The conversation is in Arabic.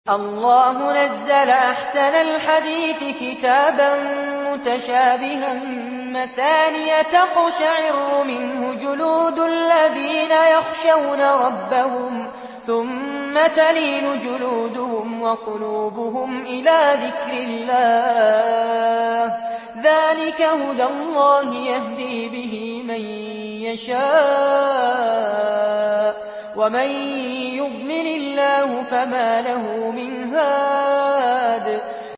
اللَّهُ نَزَّلَ أَحْسَنَ الْحَدِيثِ كِتَابًا مُّتَشَابِهًا مَّثَانِيَ تَقْشَعِرُّ مِنْهُ جُلُودُ الَّذِينَ يَخْشَوْنَ رَبَّهُمْ ثُمَّ تَلِينُ جُلُودُهُمْ وَقُلُوبُهُمْ إِلَىٰ ذِكْرِ اللَّهِ ۚ ذَٰلِكَ هُدَى اللَّهِ يَهْدِي بِهِ مَن يَشَاءُ ۚ وَمَن يُضْلِلِ اللَّهُ فَمَا لَهُ مِنْ هَادٍ